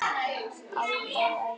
Alda og Ægir.